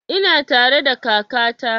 Ina tare da kaka ta